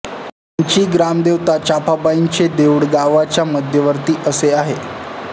ह्यांची ग्रामदेवता चाफाबाईचें देऊळ गावाच्या मध्यवर्ती असे आहे